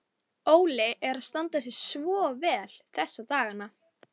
Þegar Júlía gerði mig að sögukonu.